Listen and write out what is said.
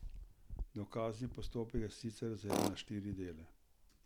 Dokazni postopek je sicer razdeljen na štiri dele.